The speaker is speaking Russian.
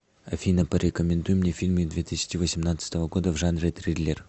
афина порекомендуй мне фильмы две тысячи восемнадцатого года в жанре триллер